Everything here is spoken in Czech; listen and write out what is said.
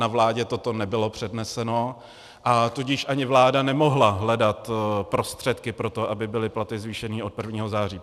Na vládě toto nebylo předneseno, a tudíž ani vláda nemohla hledat prostředky pro to, aby byly platy zvýšeny od 1. září.